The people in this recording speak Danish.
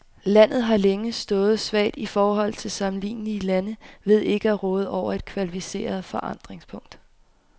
Landet har længe stået svagt i forhold til sammenlignelige lande ved ikke at råde over et kvalificeret forankringspunkt.